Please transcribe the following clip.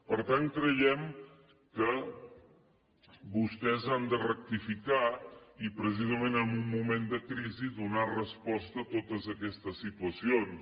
per tant creiem que vostès han de rectificar i precisament en un moment de crisi donar resposta a totes aquestes situacions